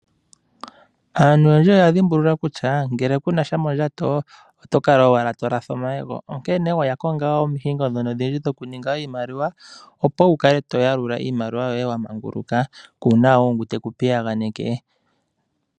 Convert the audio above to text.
Aantu oyendji oya dhimbulula kutya ngele ku na sha mondjato oto kala owala to latha omayego . Onkene oya konga oondunge ndhono odhindji dhokuninga iimaliwa, opo wu kale to yalula iimaliwa yoye wa manguluka kuuna ngu teku piyaganeke.